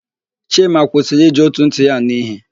Chima kwụsịrị iji ótù ntị ya ànụ́ íhé.